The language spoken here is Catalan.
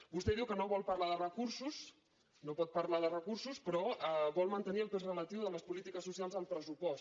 vostè diu que no vol parlar de recursos no pot parlar de recursos però vol mantenir el pes relatiu de les polítiques socials al pressupost